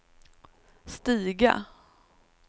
stiga